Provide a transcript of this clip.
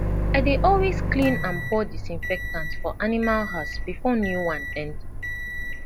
i dey always clean and pour disinfectant for animal house before new one enter